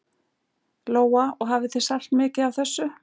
Lóa: Og hafið þið selt mikið af þessu?